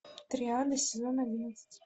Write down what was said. триада сезон одиннадцать